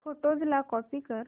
photos ला copy कर